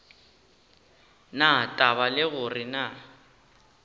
na taba le gore na